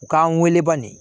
U k'an wele banni